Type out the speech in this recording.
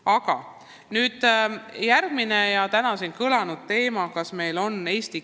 Aga nüüd järgmine, täna samuti juba kõlanud teema: eesti keel ja digikeskkond.